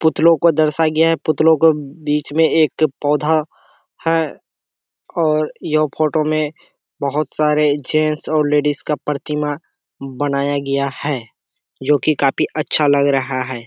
पुतलो को दर्शाया गया है | पुतलो को बीच मे एक पौधा है और यहाँ फोटो मे बहुत सारे जेंट्स और लेडीज का परतिमा बनाया गया है जो की काफी अच्छा लग रहा है।